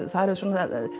það eru